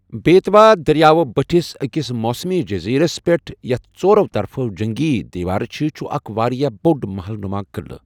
بیتوا دٔریاوٕ بٔٹھِس أکِس موسمی جٔزیرَس پٮ۪ٹھ، یَتھ ژۄرَو طرفہٕ جنٛگی دیوار چھِ، چھُ اکھ واریٛاہ بۄٚڑ مَحل نُما قٕلہٕ۔